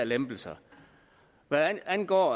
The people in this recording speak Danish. lempelser hvad angår